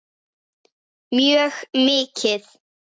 Mjög mikið.